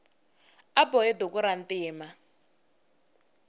a bohe duku rantima